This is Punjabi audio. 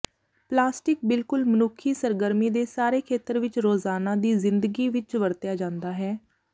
ਪਲਾਸਟਿਕ ਬਿਲਕੁਲ ਮਨੁੱਖੀ ਸਰਗਰਮੀ ਦੇ ਸਾਰੇ ਖੇਤਰ ਵਿੱਚ ਰੋਜ਼ਾਨਾ ਦੀ ਜ਼ਿੰਦਗੀ ਵਿੱਚ ਵਰਤਿਆ ਜਾਦਾ ਹੈ